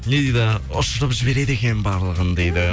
не дейді ұшырып жібереді екен барлығын дейді